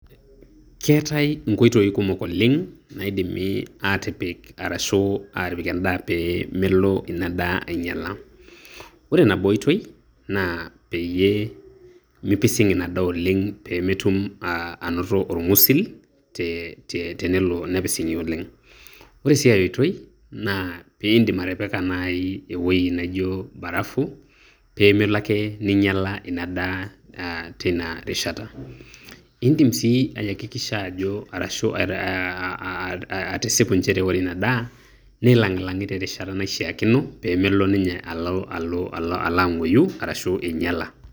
keetae inkoitoi kumok oleng, naidimi aatipik arashu aatipik edaa pee melo edaa aing'iala, ore nabo oitoi, naa peyiee mipising ina daa oleng pee metum anoto orng'usil, tenelo nepising'i oleng'.ore sii ae oitoi naa pee idim atipika naai ewueji naaijo barafu, pee melo ake neing'iala ina daa teina rishata. idim sii ayakikisha ajo, arashu atisipu nchere ore ina daa, neilang'ilang'i te rishata naishaakino, pee melo ninye alo alo ang'uoyu arashu ing'iala.